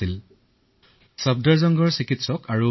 আমি ১৪ দিনলৈ সেই চিকিৎসালয়ত অকলশৰীয়াকৈ থাকিলো